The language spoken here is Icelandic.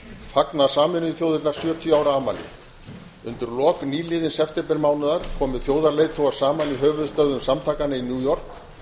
fagna sameinuðu þjóðirnar sjötíu ára afmæli undir lok nýliðins septembermánaðar komu þjóðarleiðtogar saman í höfuðstöðvum samtakanna í new york